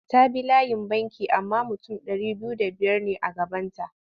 Ta bi layin banki amma mutum ɗari biyu da biyar ne a gabanta.